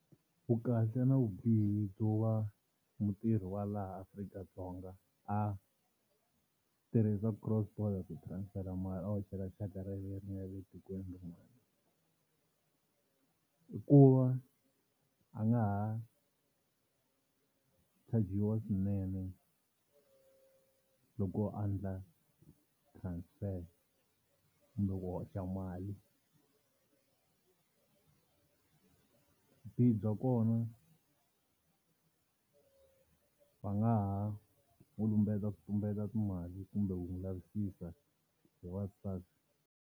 Vukahle na vubihi byo va mutirhi wa laha Afrika-Dzonga a tirhisa cross-border ku transfer mali a hoxela xaka ra yena leri nga le etikweni rin'wana, i ku va a nga ha chajiwa swinene loko a endla transfer kumbe ku hoxa mali. Vubihi bya kona va nga ha ku lumbeta ku tumbeta timali kumbe ku n'wi lavisisa hi va SARS.